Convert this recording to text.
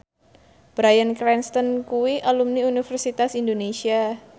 Bryan Cranston kuwi alumni Universitas Indonesia